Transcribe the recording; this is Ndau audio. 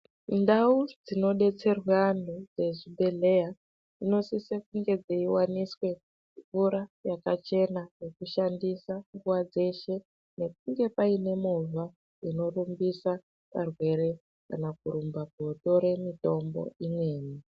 Ndau dzinodetserwa antu dzezvibhedhlera dzinosisa kunge dzeiwaniswa mvura yakachena yekushandisa nguwa dzeshe nekunge Paine movha inorumbisa Varwere kana korumba kotora mitombo imweni.